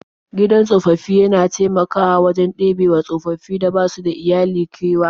Gidan tsofaffi yana taimakawa wajen ɗebewa tsofaffin da basu da iyali kewa.